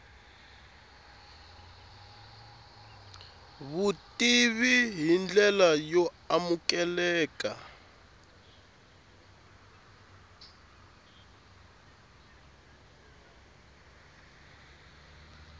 vutivi hi ndlela yo amukeleka